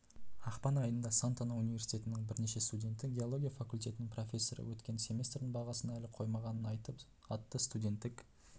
ақпан айында сантана университетінің бірнеше студенті геология факультетінің профессоры өткен семестрдің бағасын әлі қоймағанын айтып атты студенттік